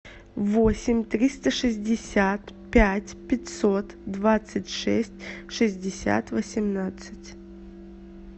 восемь триста шестьдесят пять пятьсот двадцать шесть шестьдесят восемнадцать